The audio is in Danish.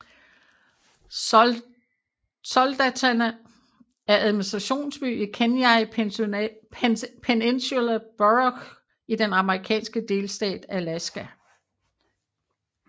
Soldotna er administrationsby i Kenai Peninsula Borough i den amerikanske delstat Alaska